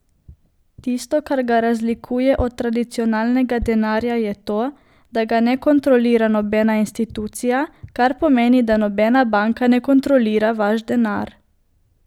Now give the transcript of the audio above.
Tisto, kar ga razlikuje od tradicionalnega denarja je to, da ga ne kontrolira nobena institucija, kar pomeni da nobena banka ne kontrolira vaš denar.